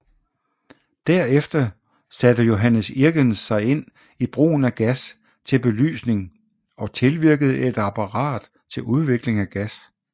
Derefter satte Johannes Irgens sig ind i brugen af gas til belysning og tilvirkede et apparat til udvikling af gas